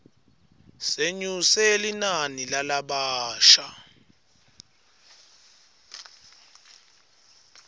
senyuse linani lalabasha